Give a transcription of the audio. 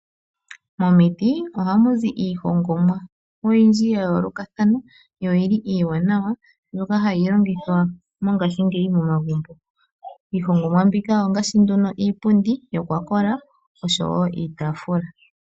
Momiti ohamu zii iihongomwa oyindji ya yoolokathana yo oyili iiwanawa mbyoka hayi longithwa mongaashingeyi momagumbo. Iihongomwa mbika ongaashi nduno iipundi yokwakola oshowo iitaafula.